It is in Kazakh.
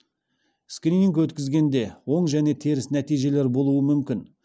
скрининг өткізгенде оң және теріс нәтижелер болуы мүмкін